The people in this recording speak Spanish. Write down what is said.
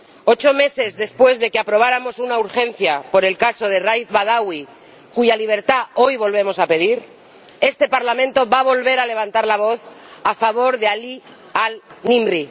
Ocho meses después de que aprobáramos una Resolución de urgencia sobre el caso de Raif Badawi —cuya libertad hoy volvemos a pedir—, este Parlamento va a volver a levantar la voz a favor de Alí Mohamed al Nimr